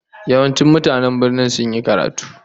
Yawancin mutanen birnin sun yi karatu